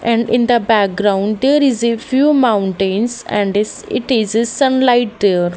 and in the background there is a few mountains and is it is a sunlight there.